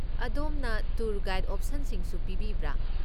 ꯑꯗꯣꯝꯅ tour guide ꯑꯣꯄꯁꯟꯁꯤꯡꯁꯨ ꯄꯤꯕꯤꯕ꯭ꯔꯥ?